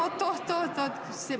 Oot, oot!